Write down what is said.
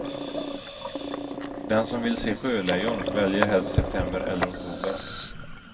Den som vill se sjölejon väljer helst september eller oktober.